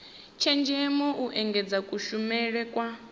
tshenzhemo u engedza kushumele kwa